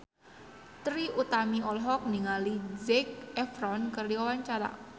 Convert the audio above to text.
Trie Utami olohok ningali Zac Efron keur diwawancara